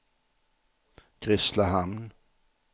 Grisslehamn